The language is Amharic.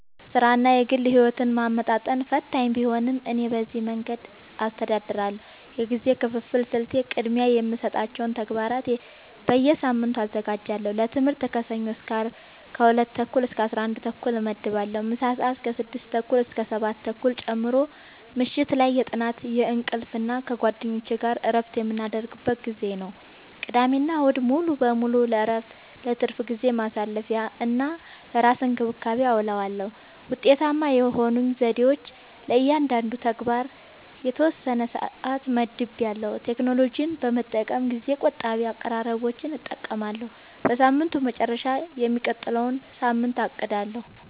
ሥራንና የግል ሕይወትን ማመጣጠን ፈታኝ ቢሆንም፣ እኔ በዚህ መንገድ አስተዳድራለሁ፦ የጊዜ ክፍፍል ስልቴ፦ · ቅድሚያ የሚሰጣቸውን ተግባራት በየሳምንቱ አዘጋጃለሁ · ለትምህርት ከሰኞ እስከ አርብ ከ 2:30-11:30 እመድባለሁ (ምሳ ሰአት 6:30-7:30 ጨምሮ) · ምሽት ላይ የጥናት፣ የእንቅልፍ እና ከጓደኞች ጋር እረፍት የምናደርግበት ጊዜ ነው። · ቅዳሜና እሁድ ሙሉ በሙሉ ለእረፍት፣ ለትርፍ ጊዜ ማሳለፊ፣ እና ለራስ እንክብካቤ አዉለዋለሁ። ውጤታማ የሆኑኝ ዘዴዎች፦ · ለእያንዳንዱ ተግባር የተወሰነ ሰዓት መድቤያለሁ · ቴክኖሎጂን በመጠቀም ጊዜ ቆጣቢ አቀራረቦችን እጠቀማለሁ · በሳምንቱ መጨረሻ የሚቀጥለውን ሳምንት አቅዳለሁ